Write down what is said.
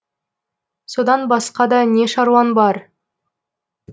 содан басқада не щаруаң бар